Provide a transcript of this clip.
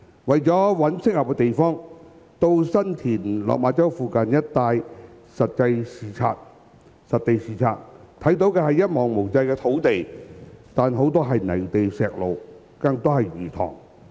為了尋找合適地方，曾到新田、落馬洲附近一帶實地視察，看見的是一望無際的土地，但很多是泥地、石路，更多是魚塘。